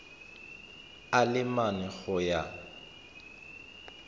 a le mane go ya